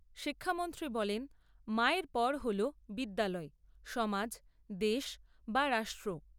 শিক্ষামন্ত্রী বলেন, মায়ের পর হল বিদ্যালয়, সমাজ, দেশ বা রাষ্ট্র।